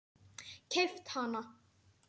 Keypt hana?